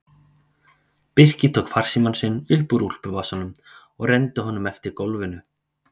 Birkir tók farsímann sinn upp úr úlpuvasanum og renndi honum eftir gólfinu.